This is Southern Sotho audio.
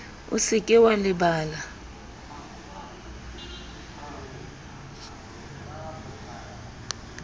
o se ke wa lebala